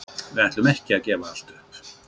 Við ætlum ekki að gefa allt upp.